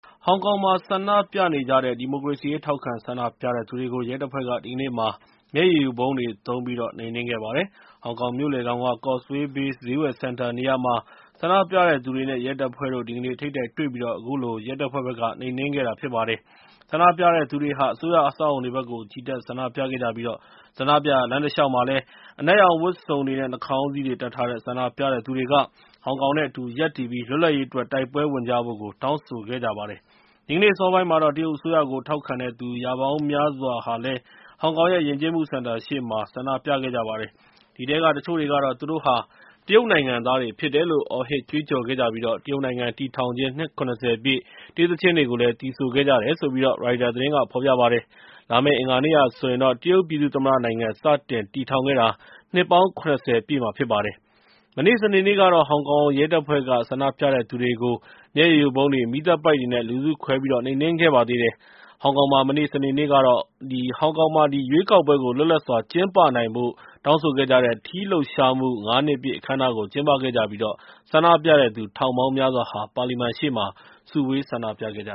ဟောင်ကောင်မှာ ဆန္ဒပြနေကြတဲ့ ဒီမိုကရေစီရေး ထောက်ခံဆန္ဒပြတဲ့သူတွေကို ရဲတပ်ဖွဲ့က ဒီကနေ့မှာ မျက်ရည်ယိုဗုံးတွေ သုံးပြီးတော့ နှိမ်နင်းခဲ့ပါတယ်။ ဟောင်ကောင်မြို့လယ်ခေါင်က Causeway Bay ဈေးဝယ်စင်တာနေရာမှာ ဆန္ဒပြတဲ့သူတွေနဲ့ ရဲတပ်ဖွဲ့တို့ ဒီကနေ့ ထိပ်တိုက်တွေ့ပြီး အခုလို ရဲတပ်ဖွဲ့ဘက်က နှိမ်နင်းခဲ့တာ ဖြစ်ပါတယ်။ ဆန္ဒပြတဲ့သူတွေဟာ အစိုးရအဆောက်အအုံတွေဘက်ကို ချီတက်ဆန္ဒပြခဲ့ကြပြီး ဆန္ဒပြရာ လမ်းတလျှောက်မှာလည်း အနက်ရောင်ဝတ်စုံတွေနဲ့ နှာခေါင်းစည်းတွေ တပ်ထားတဲ့ ဆန္ဒပြတဲ့သူတွေက ဟောင်ကောင်နဲ့ အတူူရပ်တည်ပြီး လွတ်လပ်ရေးအတွက် တိုက်ပွဲဝင်ကြဖို့ တောင်းဆိုခဲ့ကြပါတယ်။ ဒီကနေ့ အစောပိုင်းမှာတော့ တရုတ်အစိုးရကို ထောက်ခံတဲ့သူ ရာပေါင်းများစွာဟာ ဟောင်ကောင်ရဲ့ ယဉ်ကျေးမှုစင်တာရှေ့မှာ ဆန္ဒပြခဲ့ကြပါတယ်။ အဲဒီထဲက တချို့တွေကတော့ သူတို့ဟာ တရုတ်နိုင်ငံသားတွေဖြစ်တယ်လို့ အော်ဟစ်ကြွေးကြော်ခဲ့ကြပြီး တရုတ်နိုင်ငံတည်ထောင်ခြင်း နှစ် ၇၀ ပြည့် တေးသီချင်းတွေကို သီဆိုခဲ့ကြတယ်လို့ ရိုက်တာသတင်းက ဖော်ပြပါတယ်။ လာမယ့် အင်္ဂါနေ့ဟာဆိုရင် တရုတ်ပြည်သူ့သမ္မတနိုင်ငံ စတင်တည်ထောင်ခဲ့တာ နှစ်ပေါင်း ၇၀ ပြည့်မှာ ဖြစ်ပါတယ်။ မနေ့ စနေနေ့ကတော့ ဟောင်ကောင်ရဲတပ်ဖွဲ့က ဆန္ဒပြတဲ့သူတွေကို မျက်ရည်ယိုဗုံးတွေ၊ မီးသတ်ပိုက်တွေနဲ့ လူစုခွဲ နှိမ်နင်းခဲ့ပါသေးတယ်။ ဟောင်ကောင်မှာ မနေ့ စနေနေ့ကတော့ ရွေးကောက်ပွဲ လွတ်လပ်စွာကျင်းပနိုင်ဖို့ တောင်းဆိုခဲ့ကြတဲ့ ထီးလှုပ်ရှားမှု ၅ နှစ်ပြည့်အခမ်းအနား ကျင်းပခဲ့ပြီး ဆန္ဒပြတဲ့သူ ထောင်ပေါင်းများစွာဟာ ပါလီမန်ရှေ့မှာ စုဝေး ဆန္ဒပြခဲ့ကြ